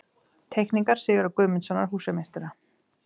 Teikningar Sigurðar Guðmundssonar, húsameistara.